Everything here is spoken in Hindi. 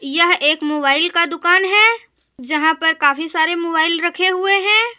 यह एक मोबाइल का दुकान है जहां पर काफी सारे मोबाइल रखे हुए हैं।